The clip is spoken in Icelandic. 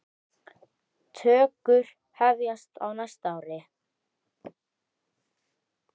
Tökur hefjast á næsta ári.